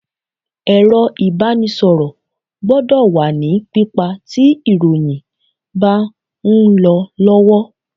Ẹ̀rọ ìbánisọ̀rọ̀ gbọ́dọ̀ wà ní pípa tí ìròyìn bá ń lọ lọ́wọ́.